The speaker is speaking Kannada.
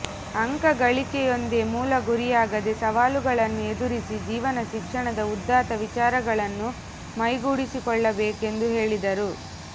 ಅಂಕ ಗಳಿಕೆಯೊಂದೇ ಮೂಲ ಗುರಿಯಾಗದೆ ಸವಾಲುಗಳನ್ನು ಎದುರಿಸಿ ಜೀವನ ಶಿಕ್ಷಣದ ಉದಾತ್ತ ವಿಚಾರಗಳನ್ನು ಮೈಗೂಡಿಸಿಕೊಳ್ಳಬೇಕೆಂದು ಹೇಳಿದರು